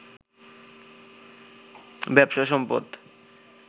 ব্যবসা, সম্পদ